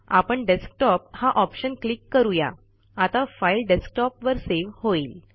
आपण डेस्कटॉप हा option click करू या आता फाईल डेस्कटॉपवर सेव्ह होईल